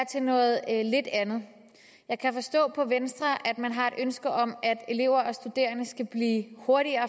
til noget lidt andet jeg kan forstå på venstre at man har et ønske om at elever og studerende skal blive hurtigere